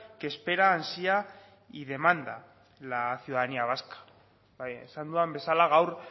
que espera ansia y demanda la ciudadanía vasca esan dudan bezala gaur